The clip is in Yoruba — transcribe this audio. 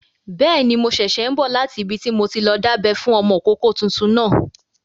Bẹ́ẹ̀ni, mo ṣẹ̀ṣẹ̀ n bọ̀ láti ibi tí mo ti lọ dábẹ́ fún ọmọkọ́kọ́ tuntun náà